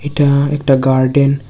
এটা একটা গার্ডেন ।